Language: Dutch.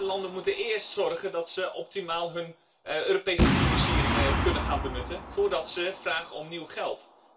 Landen moeten eerst zorgen dat ze optimaal hun Europese financieringen kunnen gaan benutten voordat ze vragen om nieuw geld.